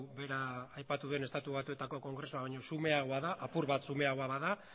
bera aipatu den estatu batuetako kongresua baino xumeagoa da apur bat xumeagoa bada